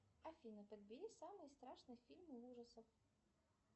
афина подбери самые страшные фильмы ужасов